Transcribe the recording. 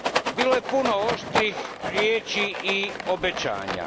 Bilo je puno oštrih riječi i obećanja.